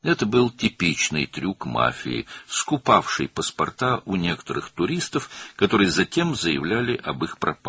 Bu, mafiyanın bəzi turistlərdən pasportları alıb, sonra onların itməsi barədə bəyan etdiyi tipik bir hiylə idi.